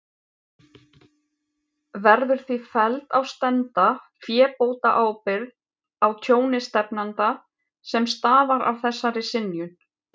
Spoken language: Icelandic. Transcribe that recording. Verður því felld á stefnda fébótaábyrgð á tjóni stefnanda, sem stafar af þessari synjun.